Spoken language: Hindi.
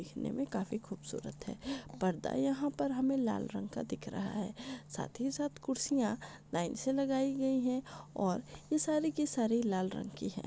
दिखने में काफी खूबसूरत है पर्दा यहा पर हमे लाल रंग का दिख रहा है साथ ही साथ कूर्सिया लाइन से लगाई गई है और ये सारी की सारी लाल रंग की है।